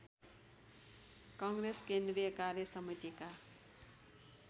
काङ्ग्रेस केन्द्रीय कार्यसमितिका